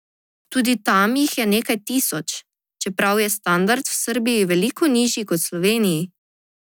Tudi tam jih je nekaj tisoč, čeprav je standard v Srbiji veliko nižji kot v Sloveniji.